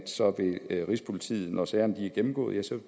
sådan at rigspolitiet når sagerne er gennemgået vil